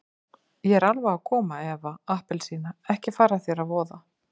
Ég er alveg að koma Eva appelsína, ekki fara þér að voða.